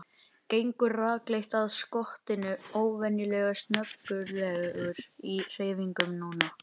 Gengur rakleitt að skottinu, óvenjulega snaggaralegur í hreyfingum núna.